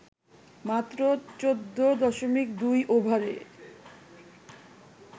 মাত্র ১৪.২ ওভারে